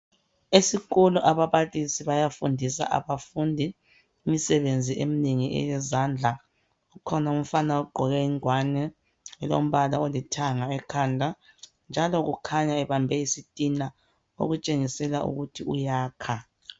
Esikolo ababalisi bayafundisa abafundi imisebenzi eminengi eyezandla. Ukhona umfana ogqoke ingwane elombala olithanga ekhanda, njalo ukhanya ebambe isitina okutshengisela ukuthi uyakha.